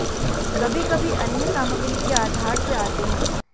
कभी कभी अन्य सामग्री के आधार से आते हैं